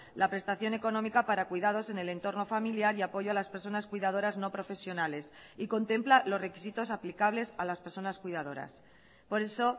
la prestación económica para cuidados en el entorno familiar y apoyo a las personas cuidadoras no profesionales y contempla los requisitos aplicables a las personas cuidadoras por eso